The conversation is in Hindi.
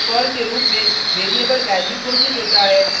जब पर्ल के रूप में वेरिएबल वैल्यू घोषित होता है